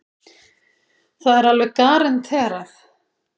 Það er alveg garanterað.